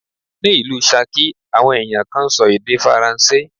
Ní ìlú Ṣakí, àwọn ẹ̀yàn kan ń sọ èdè Faransé.